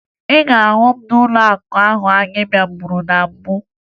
Ị ga-ahụ m n'ụlọakụ ahụ anyị bịaburu na mbụ